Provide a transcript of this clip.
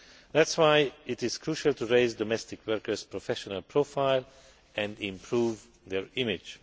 That is why it is crucial to raise domestic workers' professional profile and improve their image.